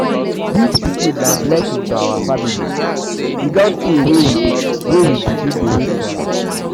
dis pikin na blessing to our family e don tey wey we begin begin wait for am.